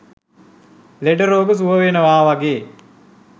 ලෙඩ රෝග සුවවෙනවා වගේ